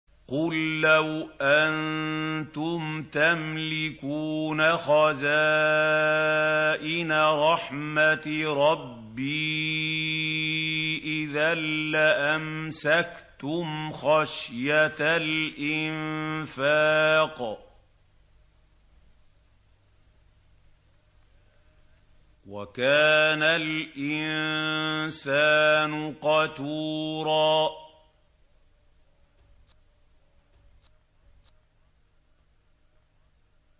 قُل لَّوْ أَنتُمْ تَمْلِكُونَ خَزَائِنَ رَحْمَةِ رَبِّي إِذًا لَّأَمْسَكْتُمْ خَشْيَةَ الْإِنفَاقِ ۚ وَكَانَ الْإِنسَانُ قَتُورًا